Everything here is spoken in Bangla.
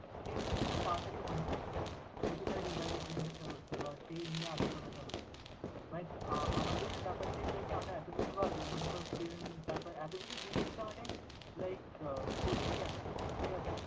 সেই জিনিসটা তাড়াতাড়ি মনে করতে পারবে। যেহেতু তার revise জিনিসটা হচ্ছে বা সেই নিয়ে আলোচনাটা হচ্ছে but আমাদের ব্যাপারটা আমরা exactly এত কিছু ভাবি মনে কর trend তারপর এতকিছু জিনিসটা মানে like ছড়িয়ে গেছে, ঠিক আছে